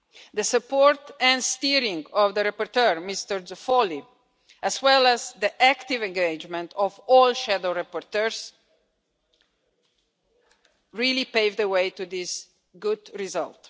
The support and steering of the rapporteur, Mr Zoffoli, as well as the active engagement of all shadow rapporteurs really paved the way to this good result.